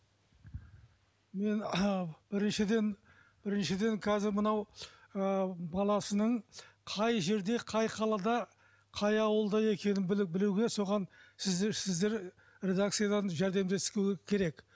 мен біріншіден біріншіден қазір мынау ы баласының қай жерде қай қалада қай ауылда екенін біліп білуге соған сіздер сіздер редакцияларыңыз жәрдемдесуі керек